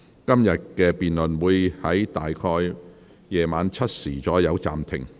今天的辯論會在晚上7時左右暫停。